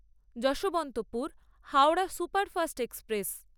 Yesvantpur Howrah superfast express